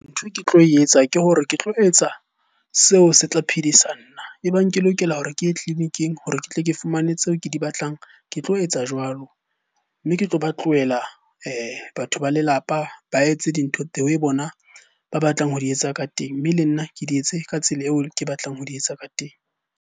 Ntho e ke tlo etsa ke hore ke tlo etsa seo se tla phedisang nna. E bang ke lokela hore ke ye tleliniking hore ke tle ke fumane tseo ke di batlang, ke tlo etsa jwalo. Mme ke tlo ba tlohela batho ba lelapa ba etse dintho the way bona ba batlang ho di etsa ka teng, mme le nna ke di etse ka tsela eo ke batlang ho di etsa ka teng.